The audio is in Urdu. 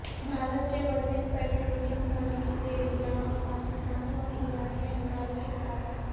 بھارت کے وزیر پٹرولیم مرلی دیورا پاکستانی اور ایرانی اہلکاروں کے ساتھ